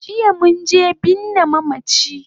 Jiya munje binne mamachi